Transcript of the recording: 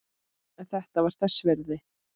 En þetta var þess virði.